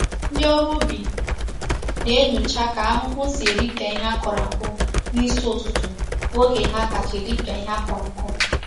Ndi órú ubi na-enyocha ka ahuhu si eripia ihe a kuru aku nisi ututu bu oge ha kacha eripia ihe a kuru aku.